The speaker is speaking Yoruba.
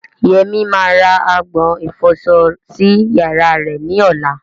Yemi máa ra agbọ̀n ìfọsọ sí yàrá rẹ̀ ní ọ̀la.